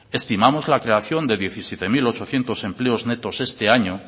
estimamos la creación de diecisiete mil ochocientos empleos netos este año